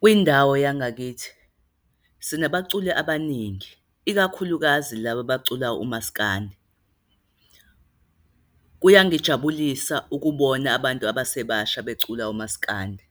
Kwindawo yangakithi sinabaculi abaningi, ikakhulukazi laba bacula umasikandi. Kuyangijabulisa ukubona abantu abasebasha becula umasikandi,